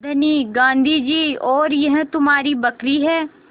धनी गाँधी जी और यह तुम्हारी बकरी है